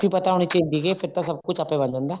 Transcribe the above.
ਪਤਾ ਹੋਣੀ ਚਾਹੀਦੀ ਹੈ ਫ਼ੇਰ ਤਾਂ ਸਭ ਕੁੱਝ ਆਪੇ ਬਣ ਜਾਂਦਾ